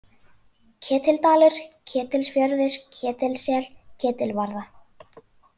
Ketildalur, Ketilsfjörður, Ketilssel, Ketilvarða